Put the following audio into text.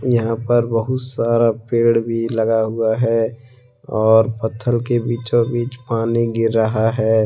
यहां पर बहुत सारा पेड़ भी लगा हुआ है और पत्थर के बीचों बीच पानी गिर रहा है ।